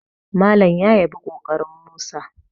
Malam ya yabi ƙoƙarin Musa